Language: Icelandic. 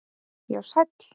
Já, sæll